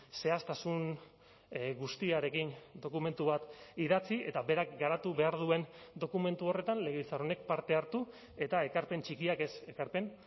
zehaztasun guztiarekin dokumentu bat idatzi eta berak garatu behar duen dokumentu horretan legebiltzar honek parte hartu eta ekarpen txikiak ez ekarpen